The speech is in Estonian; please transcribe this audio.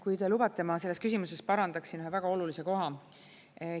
Kui te lubate, siis ma selles küsimuses parandaksin ühe väga olulise koha.